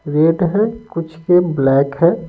Red है कुछ ये ब्लैक है।